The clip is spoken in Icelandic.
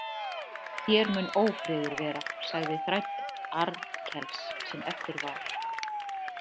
Hér mun ófriður vera, sagði þræll Arnkels sem eftir var.